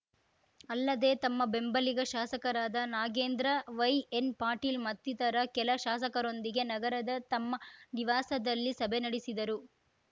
ಅಲ್ಲದೆ ತಮ್ಮ ಬೆಂಬಲಿಗ ಶಾಸಕರಾದ ನಾಗೇಂದ್ರ ವೈಎನ್‌ಪಾಟೀಲ್‌ ಮತ್ತಿತರ ಕೆಲ ಶಾಸಕರೊಂದಿಗೆ ನಗರದ ತಮ್ಮ ನಿವಾಸದಲ್ಲಿ ಸಭೆ ನಡೆಸಿದರು